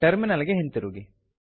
terminal ಗೆ ಹಿಂತಿರುಗಿ